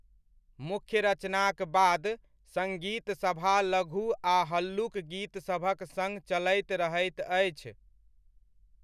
मुख्य रचनाक बाद सङ्गीतसभा लघु आ हल्लुक गीत सभक सङ चलैत रहैत अछि।